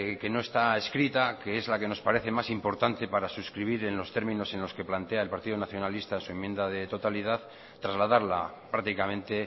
que no está escrita que es la que nos parece más importante para suscribir en los términos en los que plantea el partido nacionalista su enmienda de totalidad trasladarla prácticamente